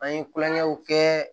An ye kulonkɛw kɛ